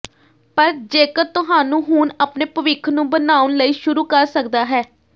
ਪਰ ਜੇਕਰ ਤੁਹਾਨੂੰ ਹੁਣ ਆਪਣੇ ਭਵਿੱਖ ਨੂੰ ਬਣਾਉਣ ਲਈ ਸ਼ੁਰੂ ਕਰ ਸਕਦਾ ਹੈ